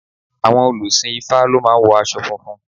Àwọn òlùsìn ifá lọ máa ń wo aṣọ funfun.